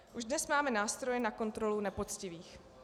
Už dnes máme nástroje na kontrolu nepoctivých.